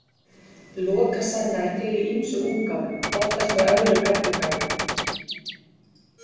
Lokasenna er til í ýmsum útgáfum, oftast með öðrum eddukvæðum.